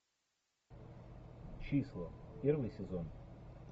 числа первый сезон